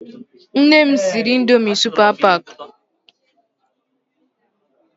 Nne m siri Ịndomì Supa Pak.